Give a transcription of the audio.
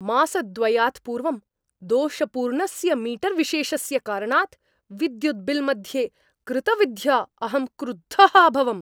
मासद्वयात् पूर्वं दोषपूर्णस्य मीटर्विशेषस्य कारणात् विद्युत् बिल् मध्ये कृतवृद्ध्या अहं क्रुद्धः अभवम्।